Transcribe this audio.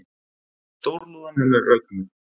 Stórlúðan hennar Rögnu